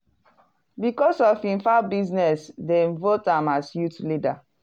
because of him fowl business dem vote am as youth leader.